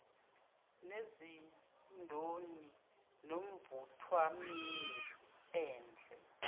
nezindoni nomvuthwamini endle